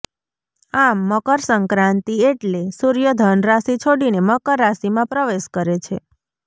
આમ મકરસંક્રાંતિ એટલે સૂર્ય ધનરાશિ છોડીને મકર રાશિમાં પ્રવેશ કરે છે